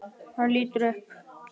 Og hann lítur upp.